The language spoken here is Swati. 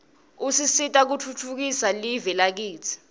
usisita kutfutfukisa live lakitsi